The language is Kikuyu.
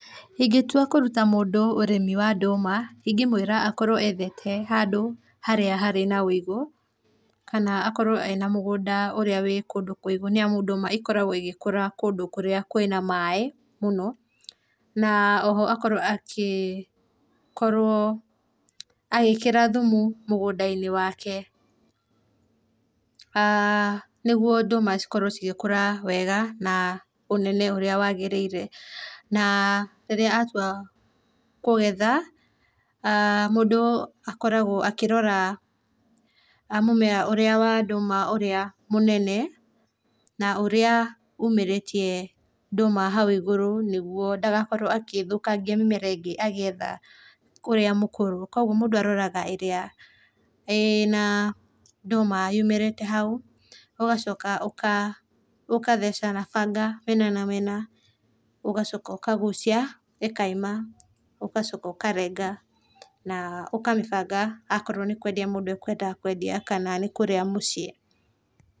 Ingetũa kũrũta mũndũ ũrĩmi wa ndũma ingĩmwĩra akorwo aethete handũ harĩa harĩ na wĩigũ, kana akorwo ena mũgũnda ũrĩa wĩ kũndũ kũigũ nĩ amũ ndũma ĩkoragwo ĩgĩkũra kũndũ kũrĩa kwĩna maĩ mũno, na oho akorwo akĩ agiĩĩkĩra thũmũ mũgũnda ĩnĩ wake nĩgũo ndũma cikorwo cigĩkũra wega na ũnene ũrĩa wagĩrĩĩre. Na rĩrĩa atũa kũgetha mũndũ nĩ akoragwo akĩrora mumea wa ndũma ũrĩa mũnene na ũrĩa ũmĩrĩtĩe ndũma haũ ĩgũrũ nĩgũo ndagakorwo agĩthũkĩagĩa mĩmera ĩrĩa ĩngĩ agĩetha ũrĩa mũkũrũ kwogo mũndũ aroraga ĩrĩa ĩna ndũma yũmĩrĩte haũ ũgacoka ũgatheca na banga mĩena na mĩena ũgacoka ũgagũcĩa ĩkaima ũgacoka ũkarega, na ũkamĩbanga akoro nĩ kũendĩa mũndũ akũendaga kũendĩa kana nĩ kũrĩa mũcĩĩ.